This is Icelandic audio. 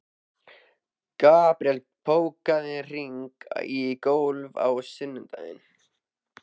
Gabriel, bókaðu hring í golf á sunnudaginn.